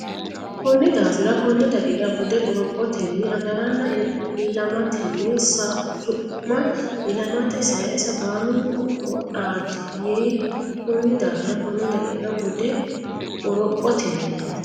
Konni daafira konne daqiiqa bude qorophotenni agaranna ilamatenni Su ma ilamate saysa baalunku qoodaati yii Konni daafira konne daqiiqa bude qorophotenni.